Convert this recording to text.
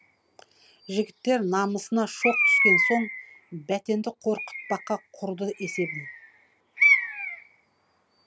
жігіттер намысына шоқ түскен соң бәтенді қорқытпаққа құрды есебін